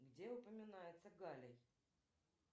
где упоминается галлий